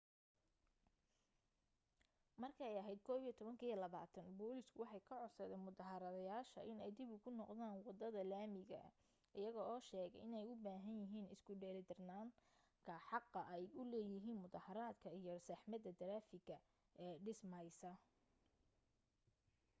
markay ahayd 11:20 booliisku waxay ka codsadeen mudaaharaadayaasha inay dib ugu noqdaan waddada laamiga iyaga oo sheegay inay u baahan yihiin isku dheelitiranka xaqa ay u leeyihin mudaaharadka iyo saxmadda taraafigga ee dhismaysa